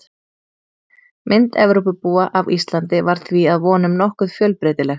Mynd Evrópubúa af Íslandi var því að vonum nokkuð fjölbreytileg.